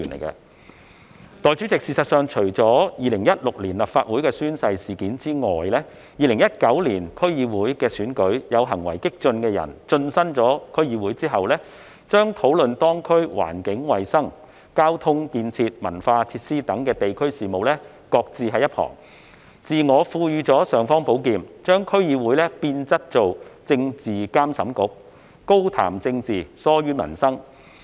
代理主席，事實上，除2016年的立法會宣誓事件外 ，2019 年的區議會選舉亦有行為激進的人士進身區議會後，把當區環境、衞生、交通建設及文化設施等地區事務擱置一旁，自我賦予"尚方寶劍"，把區議會變質為政治監審局，高談政治，疏於民生。